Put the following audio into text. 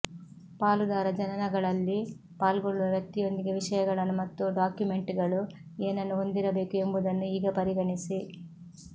ಪಾಲುದಾರ ಜನನಗಳಲ್ಲಿ ಪಾಲ್ಗೊಳ್ಳುವ ವ್ಯಕ್ತಿಯೊಂದಿಗೆ ವಿಷಯಗಳನ್ನು ಮತ್ತು ಡಾಕ್ಯುಮೆಂಟ್ಗಳು ಏನನ್ನು ಹೊಂದಿರಬೇಕು ಎಂಬುದನ್ನು ಈಗ ಪರಿಗಣಿಸಿ